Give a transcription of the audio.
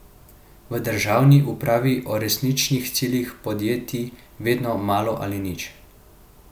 V državni upravi o resničnih ciljih podjetij vedo malo ali nič.